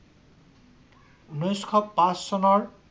ঊনৈশ পাচ চনৰ